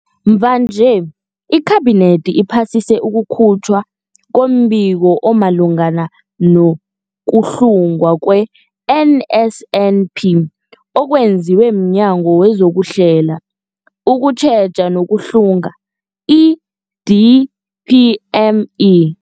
Mvanje, iKhabinethi iphasise ukukhutjhwa kombiko omalungana no-kuhlungwa kwe-NSNP okwenziwe mNyango wezokuHlela, ukuTjheja nokuHlunga, i-DPME.